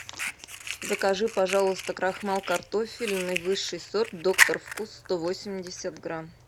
закажи пожалуйста крахмал картофельный высший сорт доктор вкус сто восемьдесят грамм